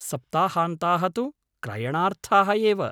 सप्ताहान्ताः तु क्रयणार्थाः एव।